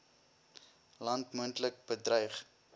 land moontlik bedreig